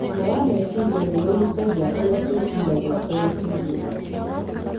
Ũgima wa meciria nĩ ũhutagia ũrĩa twĩciragia, ũrĩa tũiguaga,